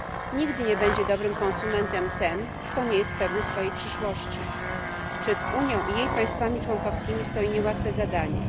Nigdy nie będzie dobrym konsumentem ten, kto nie jest pewny swojej przyszłości. Przed Unią i jej państwami członkowskimi stoi niełatwe zadanie.